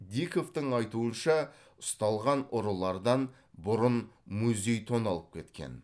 диковтың айтуынша ұсталған ұрылардан бұрын музей тоналып кеткен